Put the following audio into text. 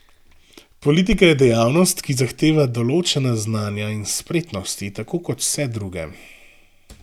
Politika je dejavnost, ki zahteva določena znanja in spretnosti, tako kot vse druge.